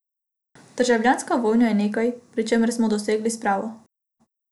Državljanska vojna je nekaj, pri čemer smo dosegli spravo.